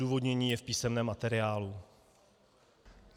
Odůvodnění je v písemném materiálu.